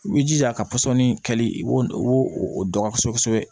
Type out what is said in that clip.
I b'i jija ka pɔsɔni kɛli i b'o i b'o o dɔn kosɛbɛ kosɛbɛ